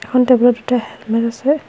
এখন টেবুলত দুটা হেলমেত আছে।